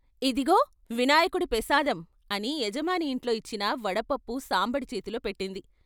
" ఇదిగో వినాయకుడి పెసాదం " అని యజమాని ఇంట్లో ఇచ్చిన వడపప్పు సాంబడి చేతిలో పెట్టింది.